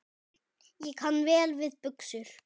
Ég kann vel við buxur.